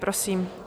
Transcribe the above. Prosím.